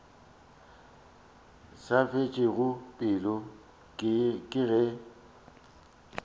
sa fetšego pelo ke ge